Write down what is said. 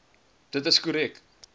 dit is korrek